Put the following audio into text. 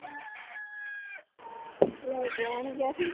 ਲੈ ਕੇ ਆਉਣਗੇ ਆਪੇ